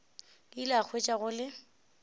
ile a hwetša go le